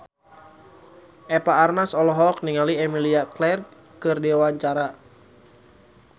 Eva Arnaz olohok ningali Emilia Clarke keur diwawancara